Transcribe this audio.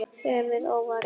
Höfuðið óvarið.